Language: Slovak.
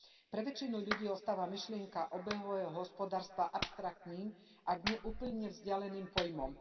Pre väčšinu ľudí ostáva myšlienka obehového hospodárstva abstraktným, ak nie úplne vzdialeným pojmom.